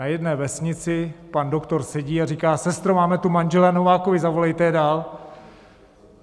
Na jedné vesnici pan doktor sedí a říká: Sestro, máme tu manžele Novákovy, zavolejte je dál!